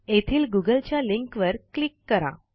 येथील गुगलच्या लिंकवर क्लिक करा